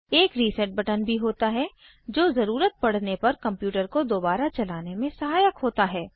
एक reset button भी होता है जो ज़रुरत पड़ने पर कंप्यूटर को दोबारा चलाने में सहायक होता है